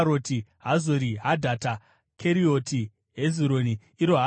Hazori Hadhata, Kerioti Hezironi (iro Hazori),